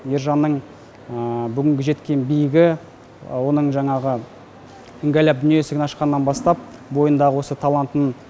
ержанның бүгінгі жеткен биігі оның жаңағы іңгәлап дүние есігін ашқаннан бастап бойындағы осы талантын